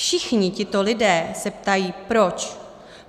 Všichni tito lidé se ptají proč.